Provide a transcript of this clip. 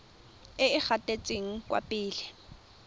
e e gatetseng kwa pele